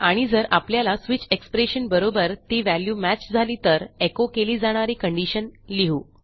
आणि जर आपल्याला स्विच एक्सप्रेशन बरोबर ती व्हॅल्यू मॅच झाली तर एचो केली जाणारी कंडिशन लिहू